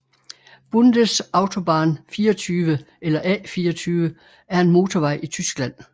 Bundesautobahn 24 eller A 24 er en motorvej i Tyskland